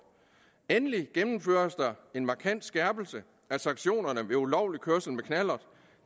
endelig gennemføres der en markant skærpelse af sanktionerne ved ulovlig kørsel med knallert